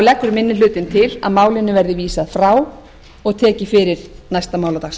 leggur minni hlutinn til að málinu verði vísað frá og tekið fyrir næsta